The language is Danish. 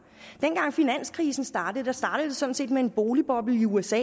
dengang finanskrisen startede startede den sådan set med en boligboble i usa